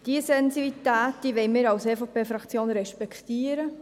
Diese Sensitivität wollen wir als EVP-Fraktion respektieren.